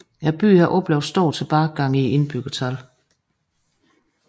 Byen har oplevet en stor tilbagegang i indbyggertallet